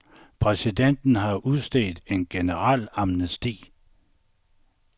Præsidenten har udstedt en generel amnesti.